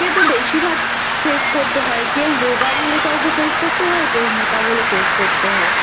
তো বেশিভাগ Face করতে হয় কেউ রোগা বলে কাউকে Face করতে হয় কেউ মোটা বলে Face করতে হয়